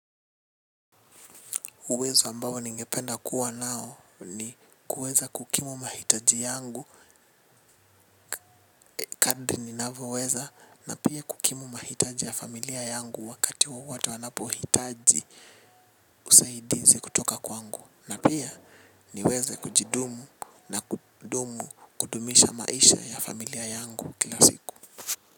Uwezo ambao ningependa kuwa nao ni kuweza kukimu mahitaji yangu kadri ninavoweza na pia kukimu mahitaji ya familia yangu wakati wowote wanapo hitaji usaidizi kutoka kwangu na pia niweze kujidumu na kudumu kudumisha maisha ya familia yangu kila siku.